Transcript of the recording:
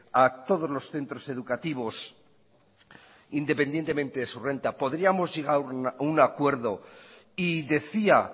a todos los centros educativos independientemente de su renta podríamos llegar a un acuerdo y decía